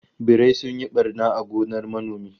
Birai sun yi barna a gonar manomi